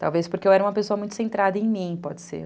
Talvez porque eu era uma pessoa muito centrada em mim, pode ser.